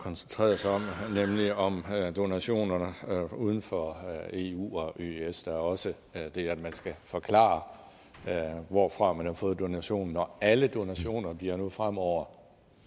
koncentreret sig om nemlig om donationer uden for eu og eøs der er også det at man skal forklare hvorfra man har fået donationen og alle donationer bliver nu fremover